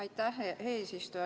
Aitäh, eesistuja!